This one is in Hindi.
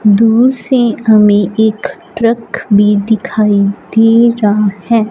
दूर से हमें एक ट्रक भी दिखाई दे रहा है।